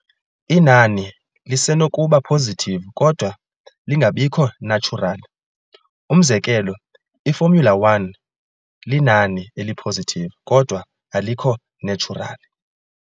Inani lisenokuba positive kodwa lingabikho natural, Umzekelo, i- formula_1 linani eli-positive, kodwa alikho natural.